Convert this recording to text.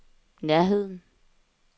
nærheden